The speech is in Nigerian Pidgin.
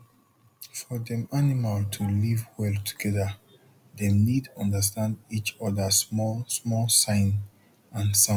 for dem animal to live well together dem need understand each other small small sign and sound